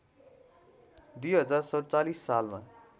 २०४७ सालमा